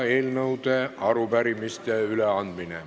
Eelnõude ja arupärimiste üleandmine.